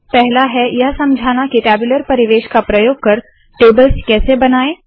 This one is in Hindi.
पहला है यह समझाना के टैब्यूलर परिवेश का प्रयोग कर टेबल्स कैसे बनाए